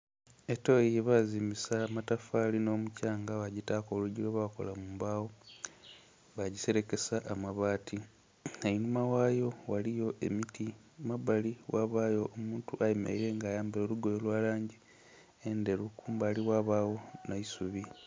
Etoyi gyebazimbisa amatafaali n'omuthyanga baagitaku olwigi lwebakola mu mbagho bagiserekesa amabaati, einhuma ghayo ghaligho emiti, ku mabbali ghabayo omuntu ayemeleire nga ayambaire olugoye olwa langi endheru kumbali ghabagho nh'eisubi.